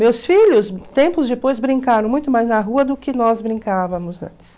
Meus filhos, tempos depois, brincaram muito mais na rua do que nós brincavamos antes.